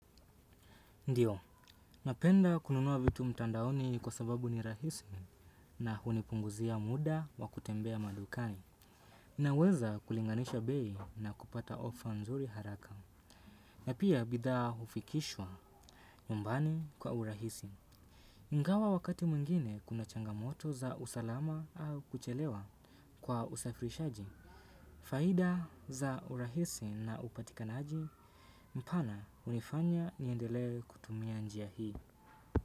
Ndiyo, napenda kununua vitu mtandaoni kwa sababu ni rahisi na hunipunguzia muda wa kutembea madukani. Naweza kulinganisha bei na kupata ofa nzuri haraka. Na pia bidhaa hufikishwa nyumbani kwa urahisi. Ingawa wakati mwingine kuna changamoto za usalama au kuchelewa kwa usafirishaji. Faida za urahisi na upatikanaji mpana hunifanya niendelee kutumia njia hii.